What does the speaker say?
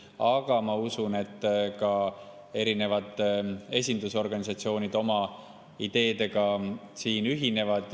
Aga ma usun, et ka erinevad esindusorganisatsioonid oma ideedega siin ühinevad.